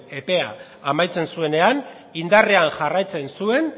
epea amaitzen zuenean indarrean jarraitzen zuen